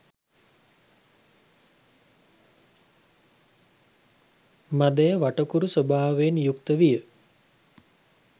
මදය වටකුරු ස්වභාවයෙන් යුක්ත විය.